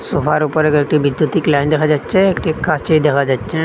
সোফার উপরে দুইটি বিদ্যুতিক লাইন দেখা যাচ্ছে একটি কাঁচি দেখা যাচ্চে।